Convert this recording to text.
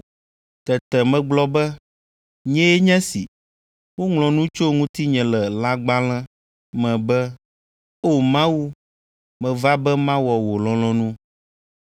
Tete megblɔ be, ‘Nyee nye esi, woŋlɔ nu tso ŋutinye le lãgbalẽ me be, o Mawu, meva be mawɔ wò lɔlɔ̃nu.’ ”